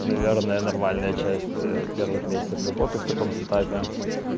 наверное нормальная часть первых месяцев работы в таком сетапе